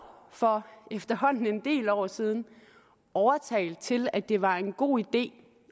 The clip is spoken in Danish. for efterhånden en del år siden overtalt til at det var en god idé